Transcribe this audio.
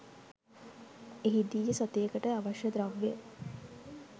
එහිදීය සතියකට අවශ්‍ය ද්‍රව්‍ය